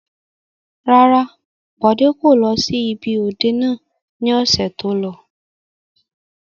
Rárá, Bọlá kò lọ sí ibi òde náà ni ọ̀sẹ̀ tó lọ.